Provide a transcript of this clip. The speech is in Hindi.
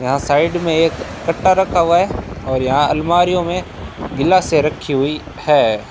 यहां साइड में एक कट्टा रखा हुआ है और यहां अलमारियों में गिलासें रखीं हुई हैं।